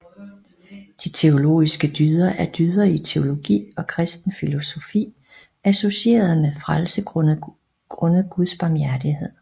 De teologiske dyder er dyder i teologi og kristen filosofi associeret med frelse grundet guds barmhjertighed